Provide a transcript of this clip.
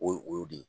O ye o y'o de ye